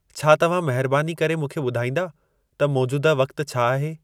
छा तव्हां महिरबानी करे मूंखे ॿुधाईंदा त मोजूदह वक़्तु छा आहे